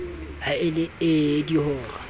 ha e le ee dihora